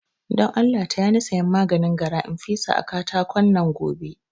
Don Allah taya ni sayan maganin gara in fesa a katakon nan gobe